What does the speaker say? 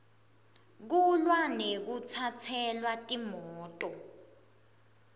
kulwa nekutsatselwa timoto